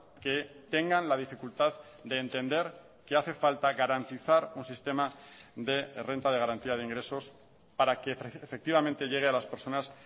que tengan la dificultad de entender que hace falta garantizar un sistema de renta de garantía de ingresos para que efectivamente llegue a las personas